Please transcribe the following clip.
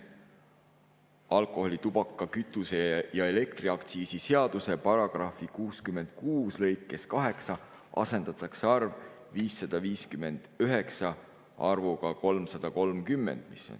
Alkoholi‑, tubaka‑, kütuse‑ ja elektriaktsiisi seaduse § 66 lõikes 8 asendatakse arv "559" arvuga "330."